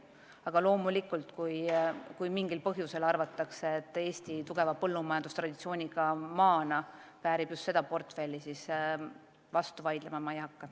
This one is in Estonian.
Aga loomulikult, kui mingil põhjusel arvatakse, et Eesti tugeva põllumajandustraditsiooniga maana väärib just seda portfelli, siis vastu vaidlema ma ei hakka.